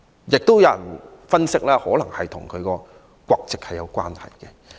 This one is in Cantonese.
亦有人分析這可能與她的國籍有關。